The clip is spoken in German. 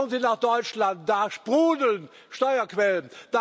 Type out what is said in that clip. Schauen Sie nach Deutschland, da sprudeln Steuerquellen.